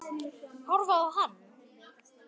Horfið á hann.